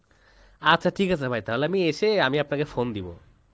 আচ্ছা ঠিক আছে ভাই তাহলে আমি এসে আমি আপনাকে phone দিবো